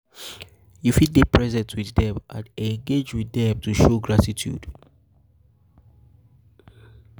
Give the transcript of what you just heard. you fit dey fit dey present with um them and engage them to show gratitude